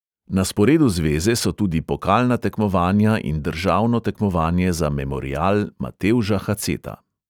Na sporedu zveze so tudi pokalna tekmovanja in državno tekmovanje za memorial matevža haceta.